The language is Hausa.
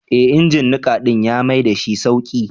Ee injin niƙa ɗin ya maidashi sauƙi.